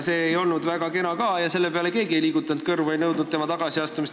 See ei olnud ka väga kena, aga selle peale ei liigutanud keegi kõrvu ega nõudnud tema tagasiastumist.